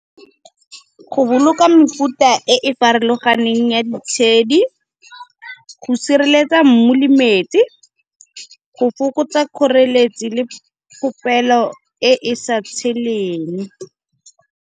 Go boloka mefuta e e farologaneng ya ditshedi, go sireletsa mmu lemetsi, go fokotsa kgoreletsi le popelo e e sa tsheleng.